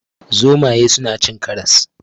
Zomaye suna cin karas.